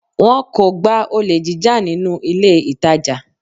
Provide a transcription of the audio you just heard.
Wọn kò gba olè jíjà nínú ilé ìtàjà.